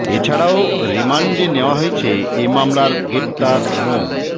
এ ছাড়াও রিমান্ডে নেওয়া হয়েছে এ মামলায় গ্রেপ্তার মো